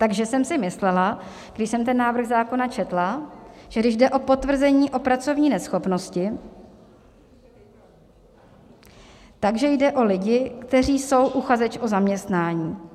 Takže jsem si myslela, když jsem ten návrh zákona četla, že když jde o potvrzení o pracovní neschopnosti, tak jde o lidi, kteří jsou uchazeči o zaměstnání.